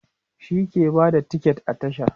shi ke Bada tiket a tasha